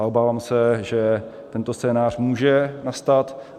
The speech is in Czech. A obávám se, že tento scénář může nastat.